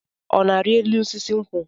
Ọ na-ari elu osisi nkwụ?